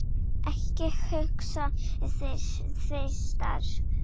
Ekki hugsa þig tvisvar um.